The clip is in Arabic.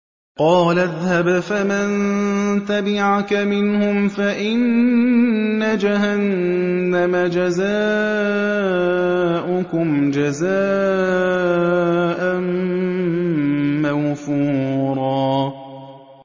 قَالَ اذْهَبْ فَمَن تَبِعَكَ مِنْهُمْ فَإِنَّ جَهَنَّمَ جَزَاؤُكُمْ جَزَاءً مَّوْفُورًا